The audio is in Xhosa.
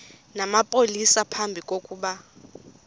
namapolisa phambi kokuba